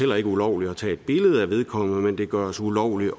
ulovligt at tage et billede af vedkommende men det gøres ulovligt